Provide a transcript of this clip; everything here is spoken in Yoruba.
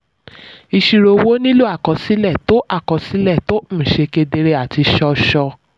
ìṣirò owó nílò àkọsílẹ̀ tó àkọsílẹ̀ tó um ṣe kedere àti ṣọ́ọ̀ṣọ̀.